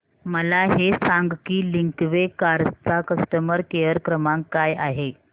मला हे सांग की लिंकवे कार्स चा कस्टमर केअर क्रमांक काय आहे